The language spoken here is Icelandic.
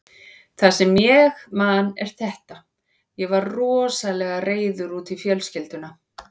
Það sem ég man er þetta: Ég var rosalega reiður út í fjölskylduna.